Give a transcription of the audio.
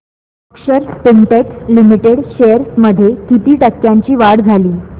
अक्षर Spintex limited shares मध्ये किती टक्क्यांची वाढ झाली